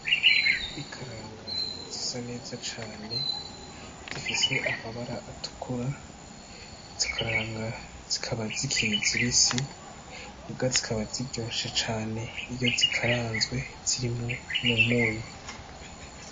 Ikaranga zisa neza cane zifise ahabara atukura. Izo karanga zikaba zikiri zibisi muga zikaba ziryoshe cane, iyo zikaranzwe zirimwo umunyu.